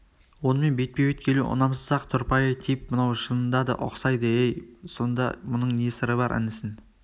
онымен бетпе-бет келу ұнамсыз-ақ тұрпайы тип мынау шынында да ұқсайды-ей сонда мұның не сыры бар інісін